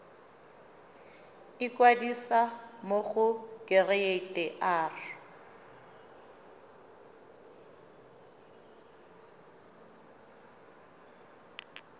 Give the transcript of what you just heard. ikwadisa mo go kereite r